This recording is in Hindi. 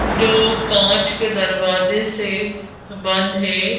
जो कांच के दरवाजे से बंद है।